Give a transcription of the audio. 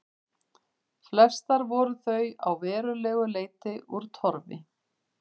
Flestar voru þó að verulegu leyti úr torfi.